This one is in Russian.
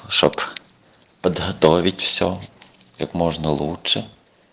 чтобы подготовить всё как можно лучше